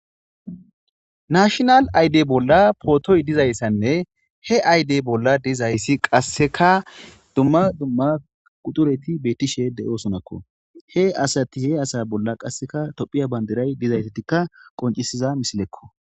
Nashonal aydey bolla pootoy dizayssanne he aydey bolla dizayssi qasseka dumma dumma quxureti bettishe de7osonakko he asati he asa bolla qasseka tophiya bandiray dizaytetikka qoncisiza misilekko